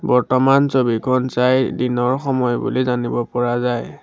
বৰ্তমান ছবিখন চাই দিনৰ সময় বুলি জানিব পৰা যায়।